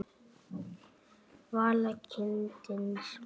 Vala: kindin smá.